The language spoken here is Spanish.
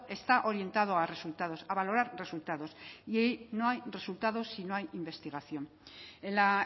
está orientado a resultados a valorar resultados y no hay resultados si no hay investigación en la